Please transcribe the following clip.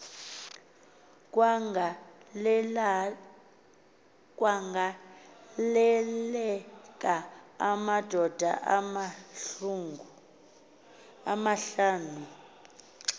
kwagaleleka amadoda amahlanu